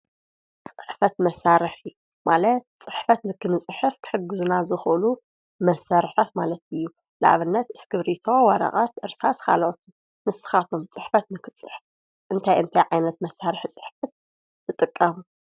ፅሕፈት መሳርሒ ማለት ፅሕፈት ንክንፅሕፍ ክሕግዙና ዝክእሉ መሳርሕታት ማለት እዩ። ንአብነት ስክርቢቶ ፣ወረቀት ፣እርሳስ ካልእት ንስካትኩም ከ ፅሕፈት ንክንፅሕፍ እንታይ እንታይ ዓይነት ፅሕፈት መሳርሒ ትጥቀሙ ?